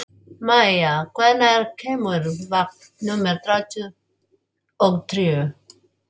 Maia, hvenær kemur vagn númer þrjátíu og þrjú?